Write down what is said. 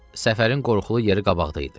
Səfərin qorxulu yeri qabaqda idi.